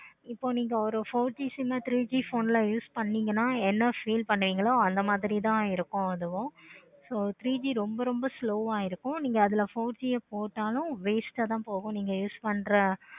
இப்போ நீங்க ஒரு four G sim ஆஹ் three G sim ல use பன்னிங்கன்னா feel பண்ணுவீங்களோ அந்த மாதிரி தான் இருக்கு அதுவும் so three G ரொம்ப ரொம்ப slow ஆஹ் இருக்கு. நீங்க அதுல four G போட்டாலும் waste ஆஹ் தான் போகும் நீங்க use பண்ற